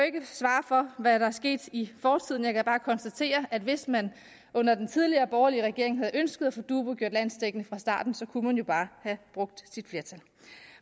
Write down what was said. ikke svare for hvad der er sket i fortiden jeg kan bare konstatere at hvis man under den tidligere borgerlige regering havde ønsket at få dubu gjort landsdækkende fra starten så kunne man jo bare have brugt sit flertal